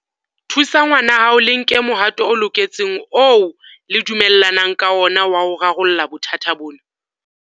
Thusa ngwanahao le nke mohato o loketseng oo le dumellanang ka ona wa ho rarolla bothata bona.